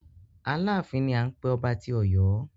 Aláàfin ni à ń pé ọba tí Ọ̀yọ́.